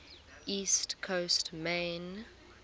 east coast maine